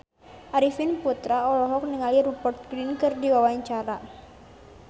Arifin Putra olohok ningali Rupert Grin keur diwawancara